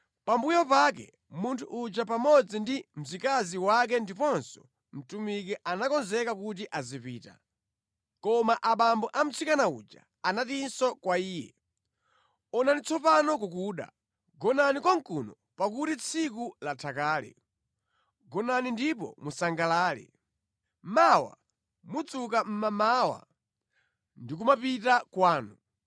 Pambuyo pake munthu uja pamodzi ndi mzikazi wake ndiponso mtumiki anakonzeka kuti azipita. Koma abambo a mtsikana uja anatinso kwa iye, “Onani tsopano kukuda. Gonani konkuno pakuti tsiku latha kale. Gonani ndipo musangalale. Mawa mudzuka mʼmamawa ndi kumapita kwanu.”